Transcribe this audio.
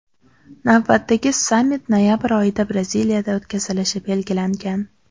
Navbatdagi sammit noyabr oyida Braziliyada o‘tkazilishi belgilangan.